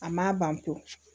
A ma ban pewu